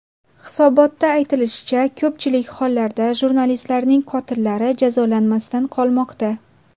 Hisobotda aytilishicha, ko‘pchilik hollarda jurnalistlarning qotillari jazolanmasdan qolmoqda.